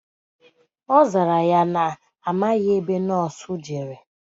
Ọzara ya na amaghi ebe nọọsụ jere